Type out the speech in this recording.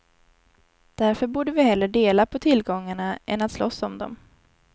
Därför borde vi hellre dela på tillgångarna än att slåss om dem.